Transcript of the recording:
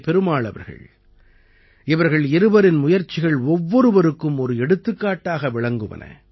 பெருமாள் அவர்கள் இவர்கள் இருவரின் முயற்சிகள் ஒவ்வொருவருக்கும் ஒரு எடுத்துக்காட்டாக விளங்குவன